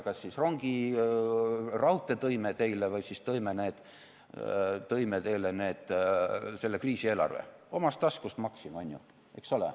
Kas siis rongi, raudtee tõime teile või siis tõime teile selle kriisieelarve, omast taskust maksime, on ju, eks ole.